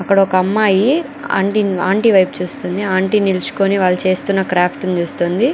అక్కడ ఒక అమ్మాయి ఆంటీ వైపు చూస్తుంది ఆంటీ నిల్చుకొని వాళ్ళు చేస్తున్న క్రాఫ్ట్ ను చూస్తోంది.